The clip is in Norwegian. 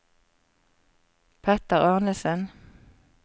Petter Arnesen